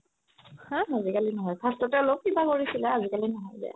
আজি কালি নহয় first তে অলপ কিবা কৰিছিলে আজি কালি নহয়